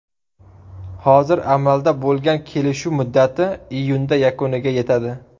Hozir amalda bo‘lgan kelishuv muddati iyunda yakuniga yetadi.